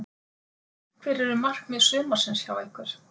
Hver eru markmið sumarsins hjá ykkur?